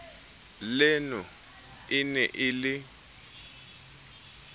leno e ne e le